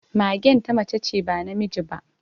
Magen ta mace ce, ba namiji ba